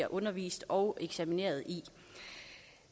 undervist og eksamineret i